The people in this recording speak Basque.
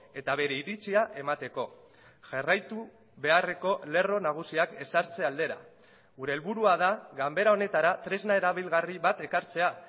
eta bere iritzia emateko jarraitu beharreko lerro nagusiak ezartze aldera gure helburua da ganbera honetara tresna erabilgarri bat ekartzea